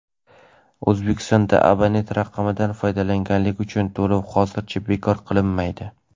O‘zbekistonda abonent raqamidan foydalanganlik uchun to‘lov hozircha bekor qilinmaydi.